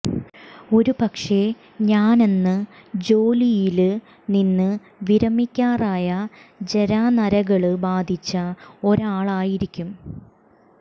ഒരു പക്ഷെ ഞാനന്ന് ജോലിയില് നിന്ന് വിരമിക്കാറായ ജരാനരകള് ബാധിച്ച ഒരാളായിരിക്കും